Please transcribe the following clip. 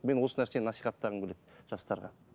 мен осы нәрсені насихаттағым келеді жастарға